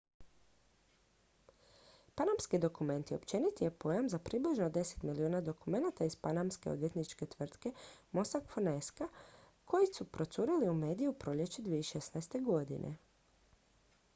"""panamski dokumenti" općeniti je pojam za približno deset milijuna dokumenata iz panamske odvjetničke tvrtke mossack fonseca koji su procurili u medije u proljeće 2016.